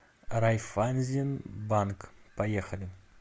райффайзенбанк поехали